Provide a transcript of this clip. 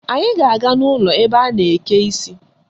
Anyị ga-aga n' ụlọ ebe a na-eke isi